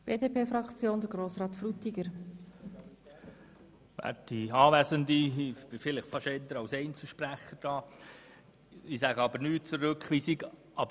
Ich stehe eher als Einzelsprecher am Mikrofon, aber ich sage nichts zur Rückweisung.